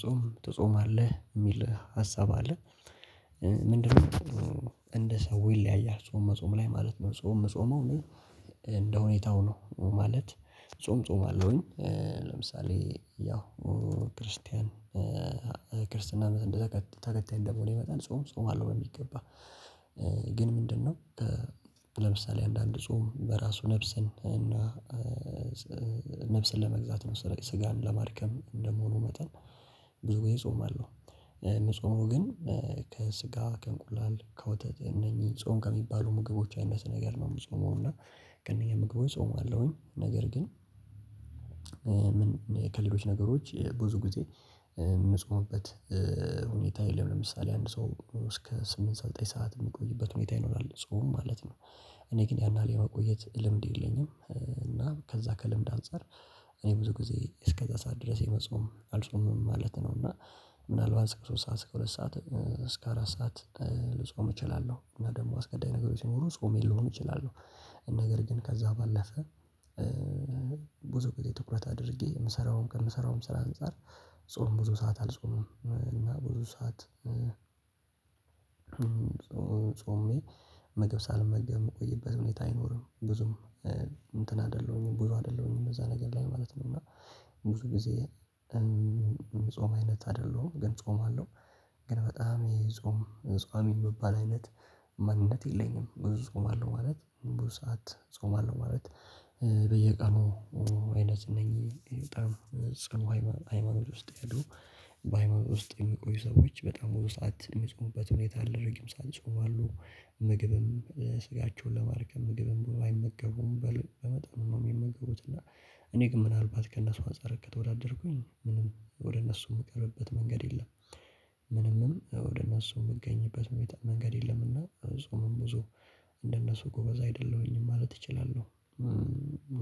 ጾም ትጾማለህ የሚል ሀሳብ አለ። ምንድነው? እንደ ሰው ይለያያል ጾም መጾም ላይ ማለት ነው። ጾም ምጾመው እኔ እንደሁኔታው ነው። ማለት ጾም ጾማለሁኝ። ለምሳሌ ያው ክርስቲያን ክርስትናን እንደተከ ተከታይ እንደመሆኔ መጠን ጾም ጾማለሁ በሚገባ። ግን ምንድነው? ለምሳሌ አንዳንድ ጾም በራሱ ነፍስን እና ነፍስን ለመግዛት ነው። ስጋን ለማድከም እንደመሆኑ መጠን ብዙ ጊዜ ጾማለሁ። የምጾመው ግን ከስጋ ከእንቁላል ከወተት እነኚህ ጾም ከሚባሉ ምግቦች አይነት ነገር ነው። የምጾመው እና ከነኚ ምግቦች ጾማለሁኝ። ነገር ግን ከሌሎች ነገሮች ብዙ ጊዜ የምጾምበት ሁኔታ የለም። ለምሳሌ አንድ ሰው እስከ ስምንት ሰዓት ዘጠኝ ሰዓት የምቆይበት ሁኔታ ይኖራል ጾም ማለት ነው። እኔ ግን ያን ያህል የመቆየት ልምድ የለኝም። እና ከዛ ከልምድ አንፃር እኔ ብዙ ጊዜ እስከዛ ሰዓት ድረስ የመጾም አልጾምም ማለት ነው። እና ምናልባት እስከ ሶስት ሰዓት እስከ ሁለት ሰዓት እስከ አራት ሰዓት ልጾም እችላለሁ። እና ደግሞ አስገዳጅ ነገሮች ሲኖሩ ጾሜን ልሆን እችላለሁ። ነገር ግን ከዛ ባለፈ ብዙ ትኩረት አድርጌ የምሰራው ከምሰራውም ስራ አንፃር ጾም ብዙ ሰዓት አልጾምም። እና ብዙ ሰዓት ጾሜ ምግብ ሳልመገብ የምቆይበት ሁኔታ አይኖርም። ብዙም እንትን አይደለሁኝም ብዙ አይደለሁኝም እዛ ነገር ላይ ማለት ነው። እና ብዙ ጊዜ ጾም አይነት አይደለሁም ግን ጾማለሁ ግን በጣም የጾም ጿሚ የምባል አይነት ማንነት የለኝም። ብዙ ጾማለሁ ማለት ብዙ ሰዓት ጾማለሁ ማለት በየቀኑ አይነት እነኚህ በጣም ጽንኡ ሃይማኖት ውስጥ ያሉ በሃይማኖት ውስጥ የሚቆዩ ሰዎች በጣም ብዙ ሰዓት የሚጾሙበት ሁኔታ አለ። ረጅም ሰዓት ይጾማሉ ምግብም ስጋቸውን ለማድከም ምግብም ብዙ አይመገቡም በል በመጠኑ ነው የሚመገቡት እና እኔ ግን ምናልባት ከእነሱ አንፃር ከተወዳደርኩኝ ምንም ወደ እነሱ የምቀርብበት መንገድ የለም። ምንምም ወደ እነሱ የምገኝበት ሁኔታ መንገድ የለምና ጾምም ብዙ እንደነሱ ጎበዝ አይደለሁኝም ማለት እችላለሁ።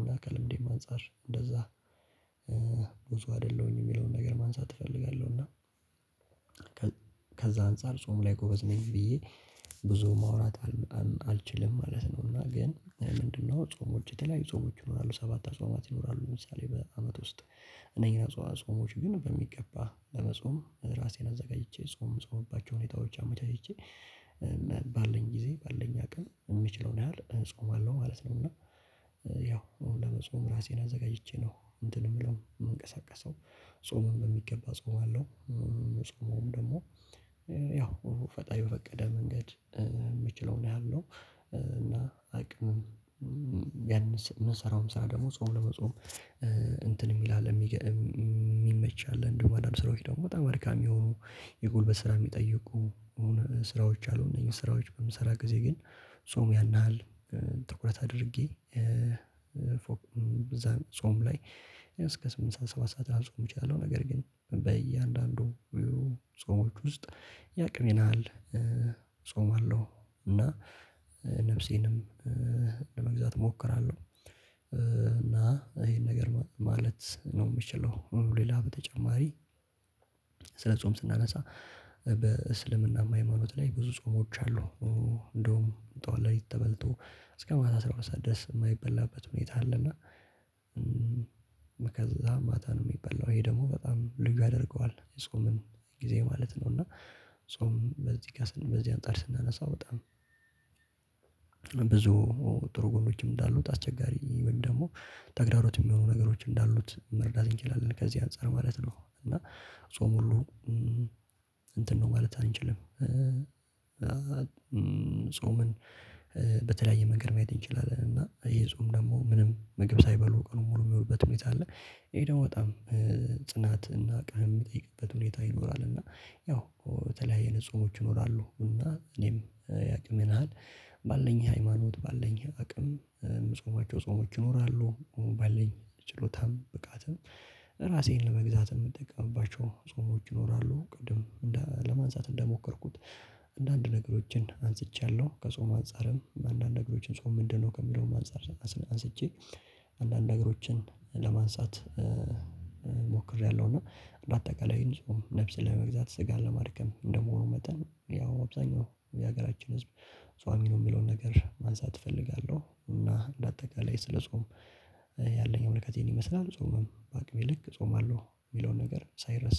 እና ከልምዴም አንፃር እንደዛ ብዙ አይደለሁም የሚለውን ነገር ማንሳት እፈልጋለሁና። አንፃር ጾም ላይ ጎበዝ ነኝ ብዬ ብዙ ማውራት አልችልም ማለት ነው። እና ግን ምንድነው? ጾሞች የተለያዩ ጾሞች ይኖራሉ ሰባት አጽዋማት ይኖራሉ ለምሳሌ በአመት ውስጥ እነኚህን አጽዋ ጾሞች ግን በሚገባ ለመጾም ራሴን አዘጋጅቼ ጾም የምጾምባቸው ሁኔታዎች አመቻችቼ። ባለኝ ጊዜ ባለኝ አቅም የምችለውን ያህል እጾማለሁ ማለት ነው። እና ያው ለመጾም ራሴን አዘጋጅቼ ነው እንትን የምለው የምንቀሳቀሰው ጾምም በሚገባ እጾማለሁ። የምጾመውም ደግሞ ያው ፈጣሪ በፈቀደ መንገድ የምችለውን ያህል ነው። እና አቅም የምሰ የምሰራውም ስራ ደግሞ ጾም ለመጾም እንትን የሚል አለ። የሚመች አለ እንዲሁ አንዳንድ ስራዎች ደግሞ በጣም አድካሚ የሆኑ የጉልበት ስራ የሚጠይቁ ስራዎች አሉ። እነዚህ ስራዎች በምሰራ ጊዜ ግን ጾም ያን ያህል ትኩረት አድርጌ ጾም በዛ ጾም ላይ እስከ ስምንት ሰዓት ሰባት ሰዓት ላልጾም እችላለሁ። ነገር ግን በእያንዳንዱ ጾሞች ውስጥ የአቅሜን ያህል ጾማለሁ እና ነፍሴንም ለመግዛት እሞክራለሁ። እና ይሄን ነገር ማለት ነው የምችለው ሌላ በተጨማሪ ስለ ጾም ስናነሳ በእስልምናም ሃይማኖት ላይ ብዙ ጾሞች አሉ። እንደውም ጠዋት ሌሊት ተበልቶ እስከ ማታ አስራ ሁለት ሰዓት ድረስ የማይበላበት ሁኔታ አለና። ከዛ ማታ ነው የሚበላው ይሄ ደግሞ በጣም ልዩ ያደርገዋል የጾሙን ጊዜ ማለት ነው። እና ጾም በዚህ ጋር በዚህ አንፃር ስናነሳ በጣም ብዙ ጥሩ ጎኖችም እንዳሉት አስቸጋሪ ወይም ደግሞ ተግዳሮት የሚሆኑ ነገሮች እንዳሉት መረዳት እንችላለን። ከዚህ አንፃር ማለት ነው። እና ጾም ሁሉ እንትን ነው ማለት አንችልም። ጾምን በተለያየ መንገድ ማየት እንችላለን እና ይሄ ጾም ደግሞ ምንም ምግብ ሳይበሉ ቀኑን ሙሉ የሚውሉበት ሁኔታ አለ። ይሄ ደግሞ በጣም ጽናት እና አቋም የሚጠይቅበት ሁኔታ ይኖራል። እና ያው የተለያይ አይነት ጾሞች ይኖራሉ እና እኔም የአቅሜን ያህል ባለኝ ሃይማኖት ባለኝ አቅም የምጾማቸው ጾሞች ይኖራሉ። ባለኝ ችሎታም ብቃትም ራሴን ለመግዛት የምጠቀምባቸው ጾሞች ይኖራሉ። ቅድም ለማንሳት እንደሞከርኩት አንዳንድ ነገሮችን አንስቻለሁ። ከጾም አንፃርም አንዳንድ ነገሮችን ጾም ምንድነው ከሚለውም አንፃር አንስቼ አንዳንድ ነገሮችን ለማንሳት ሞክሬያለሁ። እንደ አጠቃላይ ጾም ነፍስ ለመግዛት ስጋን ለማድከም እንደመሆኑ መጠን ያው አብዛኛው የሀገራችን ህዝብ ጿሚ ነው የሚለውን ነገር ማንሳት እፈልጋለሁ። እና እንደ አጠቃላይ ስለ ጾም ያለኝ ምልከታ ይሄን ይመስላል። ጾምም በአቅሜ ልክ እጾማለሁ የሚለውን ነገር ሳይረሳ